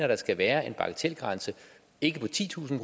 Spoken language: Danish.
der skal være en bagatelgrænse ikke på titusind